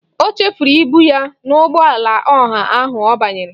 O chefuru ibu ya n'ụgbọala ọha ahụ ọ banyere.